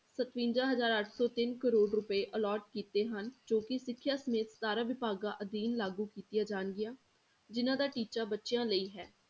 ਸਤਵੰਜਾ ਹਜ਼ਾਰ ਅੱਠ ਸੌ ਤਿੰਨ ਕਰੌੜ ਰੁਪਏ allot ਕੀਤੇ ਹਨ ਜੋ ਕਿ ਸਿੱਖਿਆ ਸਮੇਤ ਸਤਾਰਾਂ ਵਿਭਾਗਾਂ ਅਧੀਨ ਲਾਗੂ ਕੀਤੀਆਂ ਜਾਣਗੀਆਂ ਜਿੰਨਾਂ ਦਾ ਟੀਚਾ ਬੱਚਿਆਂ ਲਈ ਹੈ।